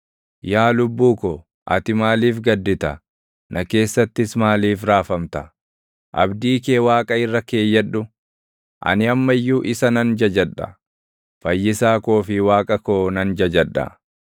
Yaa lubbuu ko, ati maaliif gaddita? Na keessattis maaliif raafamta? Abdii kee Waaqa irra keeyyadhu; ani amma iyyuu isa nan jajadha. Fayyisaa koo fi Waaqa koo nan jajadha.